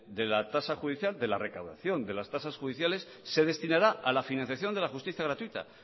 de la tasa judicial de la recaudación de las tasas judiciales se destinará a la financiación de la justicia gratuita